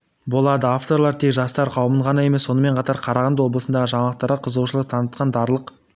болады авторлар тек жастар қауымын ғана емес сонымен қатар қарағанды облысындағы жаңалықтарға қызығушылық танытқан дарлық